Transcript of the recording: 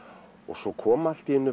svo kom allt í einu